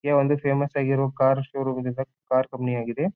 ಈ ಒಂದು ಫೇಮಸ್ ಆಗಿರುವ ಕಾರ್ ಶೋ ರೂಂ ಇದೆ ಕಾರ್ ಕಂಪನಿ ಆಗಿದೆ.